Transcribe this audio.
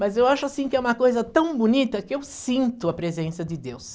Mas eu acho assim que é uma coisa tão bonita que eu sinto a presença de Deus.